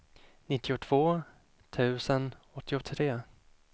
nittiotvå tusen åttiotre